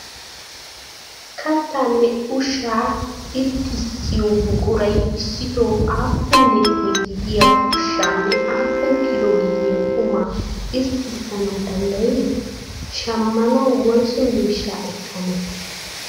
Kattaanne ushshaa irxxisiyo buquray issitoo aapuun litire gidiyaa ushaa nne aapun kilo gidiyaa qumaa irxxisanawu dandayii? Shammanawu woysu miishshaa ekane?